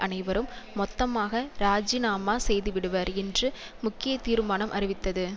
அனைவரும் மொத்தமாக இராஜிநாமா செய்துவிடுவர் என்று முக்கிய தீர்மானம் அறிவித்தது